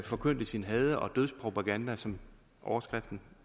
forkyndte sin had og dødspropaganda som overskriften